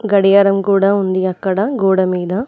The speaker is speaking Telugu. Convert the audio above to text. గడియారం కూడా ఉంది అక్కడ గోడమీద.